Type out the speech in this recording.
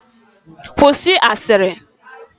Kwụsị asịrị!